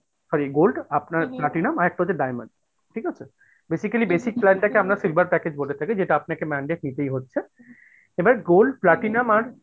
sorry gold, আপনার platinum আরেকটা হচ্ছে diamond, ঠিকাছে? basically basic plan টাকে আমরা silver package বলে থাকি যেটা আপনাকে mandate নিতেই হচ্ছে, এবার gold platinum আর